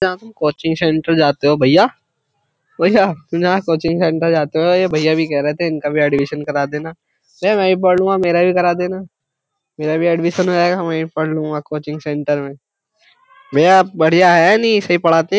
जहाँ तुम coaching centre जाते हो भैया भैया तुम जहां कोचिंग सेंटर जाते हो ये भैया भी कह रहे थे इनका भी एडमिशन करा देना भैया मैं भी पढ़ लूंगा मेरा भी करा देना मेरा भी एडमिशन हो जाएगा मैं ही पढ़ लूंगा कोचिंग सेंटर में भैया बढ़िया है नहीं सही पढ़ाते हैं।